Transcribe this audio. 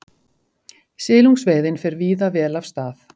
Silungsveiðin fer víða vel af stað